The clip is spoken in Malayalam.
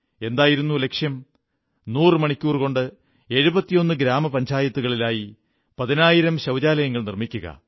എന്തായിരുന്നു ലക്ഷ്യം നൂറു മണിക്കൂർ കൊണ്ട് 71 ഗ്രാമ പഞ്ചായത്തുകളിലായി പതിനായിരം ശൌചാലയങ്ങൾ നിർമ്മിക്കുക